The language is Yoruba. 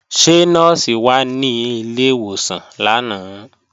Ṣé Nọ́ọ̀sì wà ní ilé ìwòsàn lánàá?